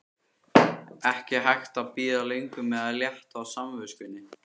Ekki hægt að bíða lengur með að létta á samviskunni!